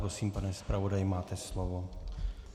Prosím, pane zpravodaji, máte slovo.